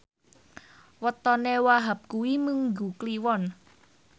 wetone Wahhab kuwi Minggu Kliwon